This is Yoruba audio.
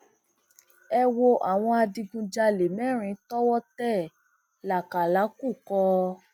ẹ wo àwọn adigunjalè mẹrin tọwọ tẹ lákàlàkùkọ